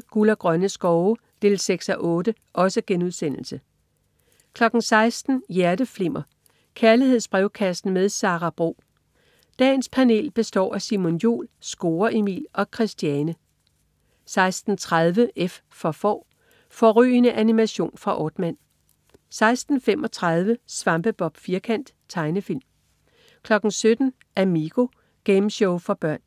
14.20 Guld og grønne skove 6:8* 16.00 Hjerteflimmer. Kærlighedsbrevkassen med Sara Bro. Dagens panel består af Simon Jul, Score Emil og Christiane 16.30 F for Får. Fårrygende animation fra Aardman 16.35 Svampebob Firkant. Tegnefilm 17.00 Amigo. Gameshow for børn